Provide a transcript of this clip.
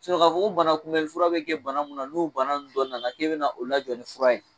Sinɔn k'a fɔ ko bana kunbɛli fura be kɛ bana mun na n'o bana nu dɔ nana k'e bɛna o la jɔ ni fura ye